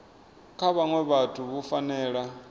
kha vhaṅwe vhathu vhu fanela